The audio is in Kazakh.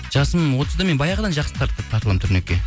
жасым отызда мен баяғыдан жақсы тартыламын турникке